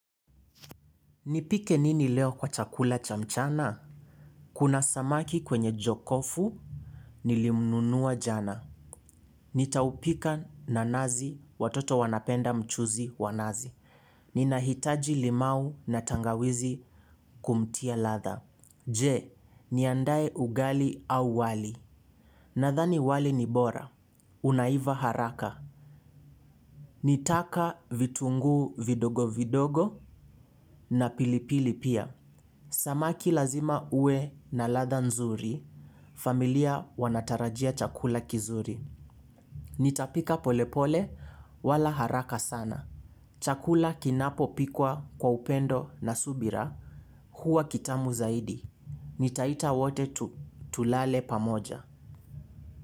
Nipike nini leo kwa chakula cha mchana? Kuna samaki kwenye jokofu nilimnunua jana. Nitaupika na nazi watoto wanapenda mchuzi wa nazi. Ninahitaji limau na tangawizi kumtia ladha. Je, niandae ugali au wali. Nadhani wali ni bora. Unaiva haraka. Nitaka vitungu vidogo vidogo na pilipili pia. Samaki lazima ue na ladha nzuri, familia wanatarajia chakula kizuri. Nitapika polepole wala haraka sana. Chakula kinapo pikwa kwa upendo na subira huwa kitamu zaidi. Nitaita wote tu tulale pamoja.